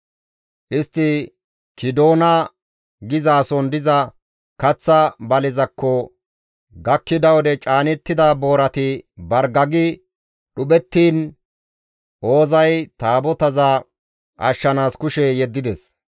Istti Kiidoona geetettizason diza kaththa balezakko gakkida wode caanida boorati bargagi dhuphettiin Oozay Taabotaza ashshanaas kushe yeddides.